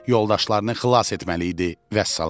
Yoldaşlarını xilas etməli idi, vəssalam.